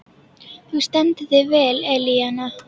Þú stendur þig vel, Elíanna!